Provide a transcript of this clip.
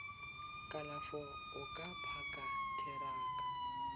kalafo o ka phaka theraka